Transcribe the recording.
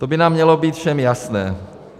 To by nám mělo být všem jasné.